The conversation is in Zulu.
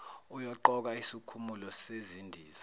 uyoqoka isikhumulo sezindiza